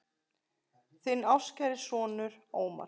Þinn ástkæri sonur, Ómar.